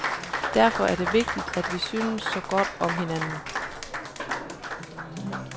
Derfor er det vigtigt, at vi synes så godt om hinanden.